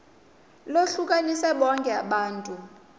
lohlukanise bonke abantu